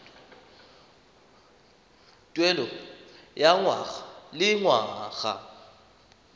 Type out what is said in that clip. tuelo ya ngwaga le ngwaga